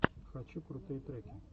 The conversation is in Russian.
хочу крутые треки